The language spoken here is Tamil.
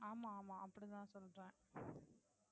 ஆமா ஆமா அப்படி தான் சொல்லறேன்.